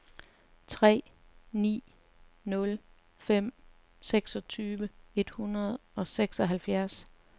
tre ni nul fem seksogtyve to hundrede og seksoghalvfjerds